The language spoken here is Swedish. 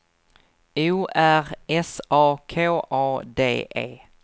O R S A K A D E